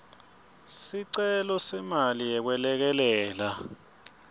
sicelo semali yekwelekelela